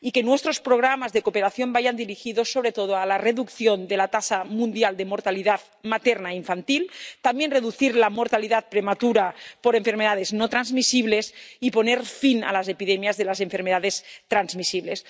y prioricemos que nuestros programas de cooperación vayan dirigidos sobre todo a la reducción de la tasa mundial de mortalidad materna e infantil, también a reducir la mortalidad prematura por enfermedades no transmisibles, y a poner fin a las epidemias de las enfermedades transmisibles.